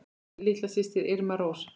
Þín litla systir, Irmý Rós.